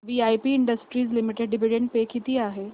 VIP industries limited dividend pay किती आहे